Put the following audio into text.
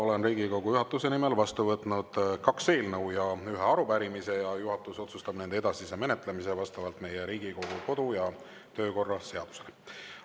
Olen Riigikogu juhatuse nimel vastu võtnud kaks eelnõu ja ühe arupärimise ning juhatus otsustab nende edasise menetlemise vastavalt Riigikogu kodu- ja töökorra seadusele.